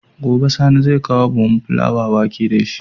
Gobe sani zai kawo buhun fulawa wake dashi